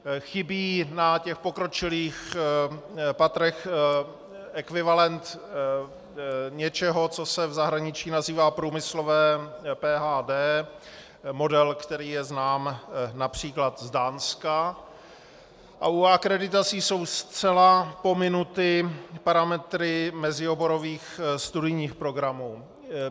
Chybí na těch pokročilých patrech ekvivalent něčeho, co se v zahraničí nazývá průmyslové PhD, model, který je znám například z Dánska, a u akreditací jsou zcela pominuty parametry mezioborových studijních programů.